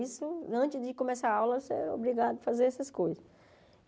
Isso, antes de começar a aula, você era obrigado a fazer essas coisas.